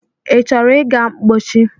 I chọrọ ịga mpochi?